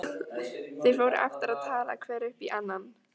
Þeir fóru aftur að tala hver upp í annan.